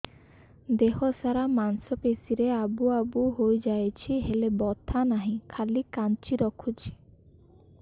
ଦେହ ସାରା ମାଂସ ପେଷି ରେ ଆବୁ ଆବୁ ହୋଇଯାଇଛି ହେଲେ ବଥା ନାହିଁ ଖାଲି କାଞ୍ଚି ରଖୁଛି